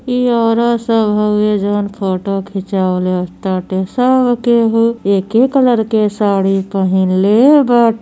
इ औरत सब हवे। जउन फोटो खिचवले ताटे। सब केहू एके कलर के साड़ी पहिनले बाटे।